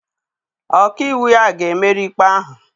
Ọka iwu ya ga-emeri ikpe ahụ.